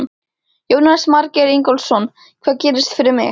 Jónas Margeir Ingólfsson: Hvað gerist fyrir mig?